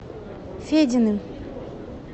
фединым